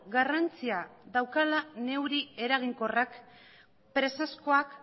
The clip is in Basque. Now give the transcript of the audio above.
garrantzia daukala neurri eraginkorrak presazkoak